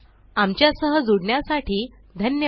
आमच्या सह जुडण्यासाठी धन्यवाद